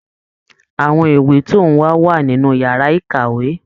Àwọn ìwé tó n wá wà nínú yàrá ìkàwé.